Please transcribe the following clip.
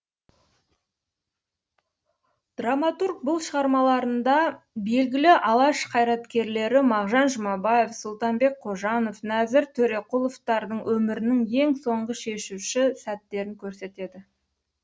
драматург бұл шығармаларында белгілі алаш қайраткерлері мағжан жұмабаев сұлтанбек қожанов нәзір төреқұловтардың өмірінің ең соңғы шешуші сәттерін көрсетеді